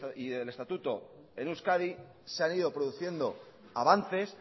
y del estatuto en euskadi se han ido produciendo avances